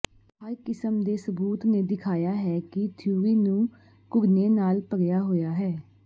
ਹਰ ਕਿਸਮ ਦੇ ਸਬੂਤ ਨੇ ਦਿਖਾਇਆ ਹੈ ਕਿ ਥਿਊਰੀ ਨੂੰ ਘੁਰਨੇ ਨਾਲ ਭਰਿਆ ਹੋਇਆ ਹੈ